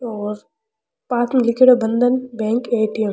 और पास में लिखेड़ो बंधन बैंक ए.टी.एम. ।